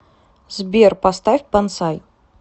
сбер поставь бонсай